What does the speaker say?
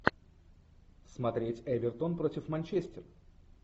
смотреть эвертон против манчестер